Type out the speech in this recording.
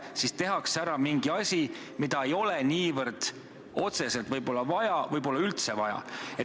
Siis tehakse ära midagi, mida võib-olla otseselt ei ole vaja või pole üldse vaja.